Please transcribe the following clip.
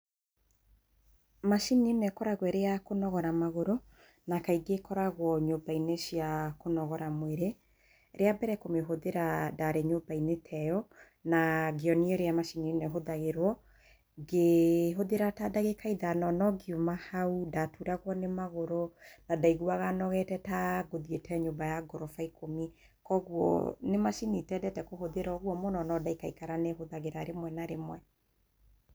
Macini ĩno ĩkoragwo ĩrĩ ya kũnogora magũrũ, na kaingĩ ĩkoragwo nyũmba-inĩ cia kũnogora mwĩrĩ. Rĩa mbere kũmĩhũthĩra ndarĩ nyũmba-inĩ teyo, na ngĩonio ũrĩa macini ĩno ĩhũthagĩrwo. Ngĩhũthĩra ta ndagĩka ithano, no ngiuma hau ndaturagwo nĩ magũrũ na ndaiguaga nogete ta ngũthiĩte nyũmba ya goroba ikũmi. Kwoguo nĩ macini itendete kũhũthĩra ũguo mũno, no ndaikaikara nĩ hũthagĩra rĩmwe na rĩmwe.